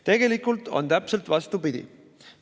Tegelikult on täpselt vastupidi.